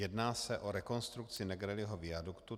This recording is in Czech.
Jedná se o rekonstrukci Negrelliho viaduktu.